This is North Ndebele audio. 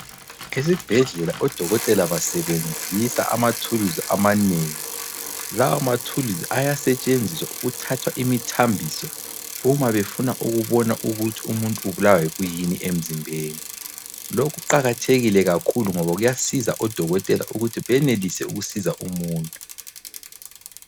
Esibhedlela odokotela basebenzisa amathuluzi amanengi. Lawa mathuluzi ayasetshenziswa ukuthatha imithambiso uma befuna ukubona ukuthi umuntu ubulawa yikuyini emzimbeni. Lokhu kuqakathekile ngoba kuyasiza odokotela ukuthi benelise ukusiza umuntu.